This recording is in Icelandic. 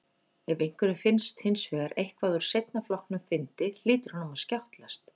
Ef einhverjum finnst hins vegar eitthvað úr seinna flokknum fyndið hlýtur honum að skjátlast.